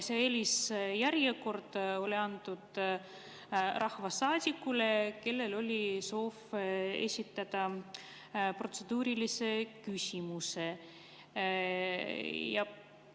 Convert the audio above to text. See eelisjärjekord oli antud rahvasaadikule, kellel oli soov esitada protseduuriline küsimus.